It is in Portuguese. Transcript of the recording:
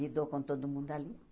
Me dou com todo mundo ali.